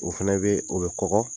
O fɛnɛ bɛ o bɛ kɔgɔ.